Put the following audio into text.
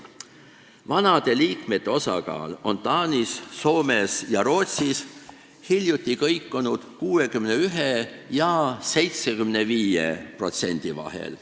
Vanade liikmete osakaal on Taanis, Soomes ja Rootsis hiljuti kõikunud 61% ja 75% vahel.